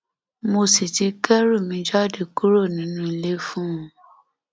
mo sì ti kẹrù mi jáde kúrò nínú ilé fún un